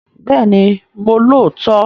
Bẹ́ẹ̀ni mo lóòótọ́